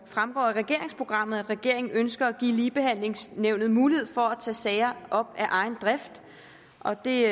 fremgår af regeringsprogrammet at regeringen ønsker at give ligebehandlingsnævnet mulighed for at tage sager op af egen drift og at det